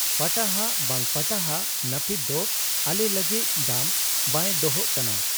ᱯᱟᱴᱟᱦᱟᱜ ᱵᱟᱝ ᱯᱟᱴᱟᱦᱟᱜ ᱱᱟᱹᱯᱤᱛ ᱫᱚ ᱟᱞᱮ ᱞᱟᱹᱜᱤᱫ ᱫᱟᱢ ᱵᱟᱭ ᱫᱚᱦᱚᱜ ᱠᱟᱱᱟ ᱾